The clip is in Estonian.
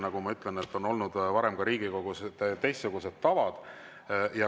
Nagu ma ütlen, on Riigikogus olnud varem ka teistsugused tavad.